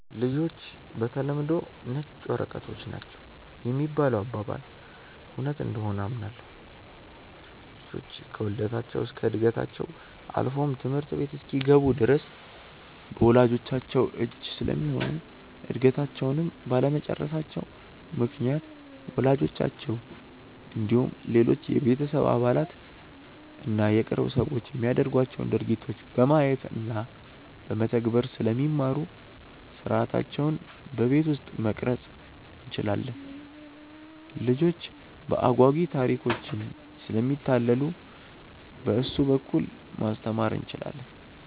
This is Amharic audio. ''ልጆች በተለምዶ ነጭ ወረቀቶች ናቸው ''የሚባለው አባባል እውነት እንደሆነ አምናለሁ። ልጆች ከውልደታቸው እስከ ዕድገታቸው አልፎም ትምህርት ቤት እስኪገቡ ድረስ በወላጅቻቸው እጅ ስለሚሆኑ እድገታቸውንም ባለመጨረሳቸው ምክንያት ወላጆቻቸው እንዲሁም ሌሎች የቤተሰብ አባላት እና የቅርብ ሰዎች የሚያደርጓቸውን ድርጊቶች በማየት እና በመተግበር ስለሚማሩ ሥርዓታቸውን በቤት ውስጥ መቅረፅ እንችላለን። ልጆች በአጓጊ ታሪኮችም ስለሚታለሉ በእሱ በኩል ማስተማር እንችላለን።